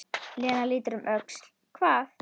Lena lítur um öxl: Hvað?